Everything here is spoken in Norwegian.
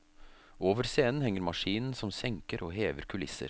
Over scenen henger maskinen som senker og hever kulisser.